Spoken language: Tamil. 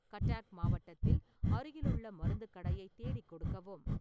கட்டாக் மாவட்டத்தில் அருகிலுள்ள மருந்துக் கடையை தேடிக் கொடுக்கவும்